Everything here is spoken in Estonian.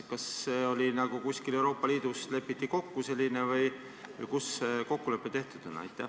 Kas see on kuskil Euroopa Liidus kokku lepitud või kus see kokkulepe tehtud on?